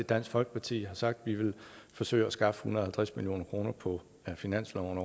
dansk folkeparti har sagt at vi vil forsøge at skaffe en hundrede og halvtreds million kroner på finansloven